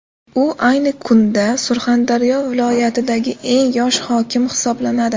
U ayni kunda Surxondaryo viloyatidagi eng yosh hokim hisoblanadi.